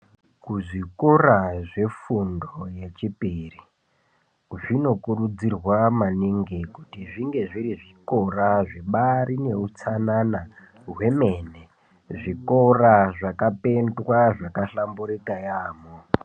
Kuchikora kwefundo yepiri kunokurudzirwa kuti kuve kuine hutsanana hwemene, zvikora zvakapendwa zvakahlamburuka yaamho